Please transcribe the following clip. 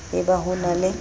e ba ho na le